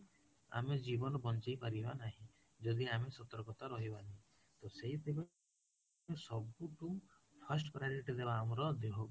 ଆମେ ଜୀବନ ବଞ୍ଚେଇ ପାରିବ ନାହିଁ ଯଦି ଆମେ ସତର୍କତା ରହିବନି ତ ସେଇଠି ପାଇଁ ସବୁଠୁ first priority ଦେବା ଆମର ଦେହ କୁ